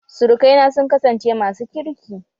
Surukaina sun kasance masu kirki